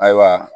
Ayiwa